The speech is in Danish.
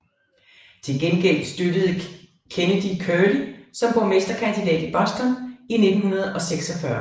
Til gengæld støttede Kennedy Curley som borgmesterkandidat i Boston i 1946